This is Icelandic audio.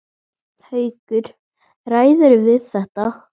Haukur: Ræðirðu við þetta?